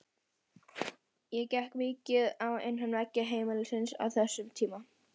Það gekk mikið á innan veggja heimilisins á þessum tíma.